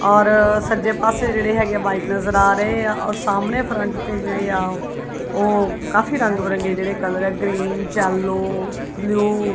ਔਰ ਸੱਜੇ ਪਾਸੇ ਜਿਹੜੇ ਹੈਗੇ ਆ ਵਾਈਟ ਨਜ਼ਰ ਆ ਰਹੇ ਆ ਔਰ ਸਾਹਮਣੇ ਫਰੰਟ ਤੇ ਜਿਹੜੇ ਆ ਉਹ ਕਾਫੀ ਰੰਗ ਬਿਰੰਗੇ ਜਿਹੜੇ ਕਲਰ ਆ ਗ੍ਰੀਨ ਯੈਲੋ ਬਲੂ ।